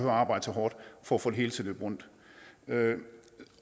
at arbejde så hårdt for at få det hele til at løbe rundt